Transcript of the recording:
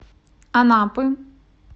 анапы